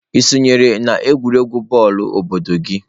Ị sonyere n'egwuregwu bọọlụ obodo gị?"